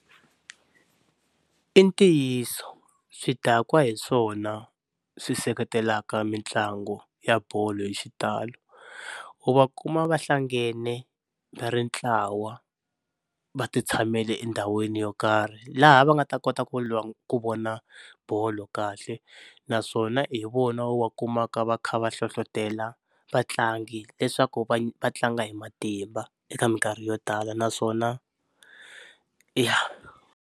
I ntiyiso swidakwa hi swona swi seketelaka mitlangu ya bolo hi xitalo, u va kuma va hlangane va ri ntlawa va ti tshamele endhawini yo karhi laha va nga ta kota ku ku vona bolo kahle naswona hi vona u va kumaka va kha va hlohlotelo vatlangi leswaku va tlanga hi matimba eka minkarhi yo tala naswona ya.